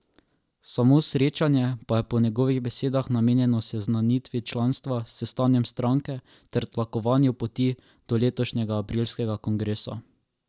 Samo srečanje pa je po njegovih besedah namenjeno seznanitvi članstva s stanjem stranke ter tlakovanju poti do letošnjega aprilskega kongresa.